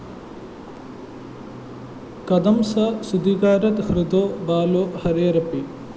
കഥം സ സൂതികാഗാരാത് ഹൃതോ ബാലോ ഹരേരപി